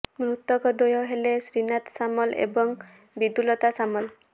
ମୃତକ ଦ୍ବୟ ହେଲେ ଶ୍ରୀନାଥ ସାମଲ ଏବଂ ବିଦ୍ୟୁତ୍ଲତା ସାମଲ